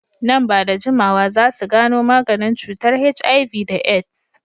Nan ba da jimawa za su gano maganin cutar HIV da AIDS.